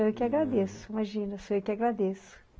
Sou eu que agradeço, imagina, sou eu que agradeço.